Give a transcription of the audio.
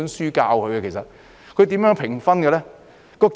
而教師又如何評分呢？